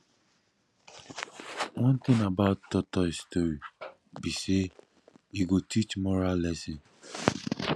one thing about tortoise story be say e go teach moral lesson